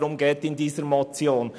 Darum geht es in dieser Motion.